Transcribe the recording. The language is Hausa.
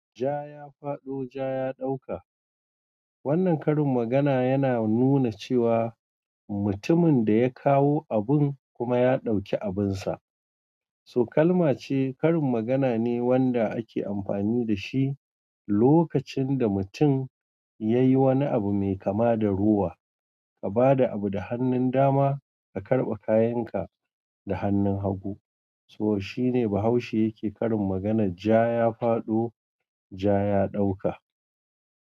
Ja ya fado, ja ya dauka. Wannan karin magana yana nuna cewa mutumin da ya kawo abun kuma ya ɗauki abinsa. To kalmace karin magana ne wanda ake amfani da shi lokacin da mutum yayi wani abu mai kama da rowa. Ka ba da abu da hannun dama, ka karɓi kayan ka da hannun hagu. So shine Bahaushe yake karin maganar ja ya fado, ja ya ɗauka.